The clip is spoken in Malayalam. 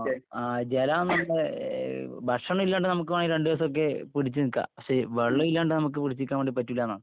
ആ.. ജലം നമ്മുടെ... ഭക്ഷണം ഇല്ലാണ്ട് നമുക്ക് വേണേ രണ്ടുദിവസമൊക്കെ പിടിച്ചു നിക്കാം. പക്ഷേ വെള്ളമില്ലാണ്ട് നമ്മക്ക് പിടിച്ചുനിക്കാൻ വേണ്ടി പറ്റൂലാ എന്നാണ്...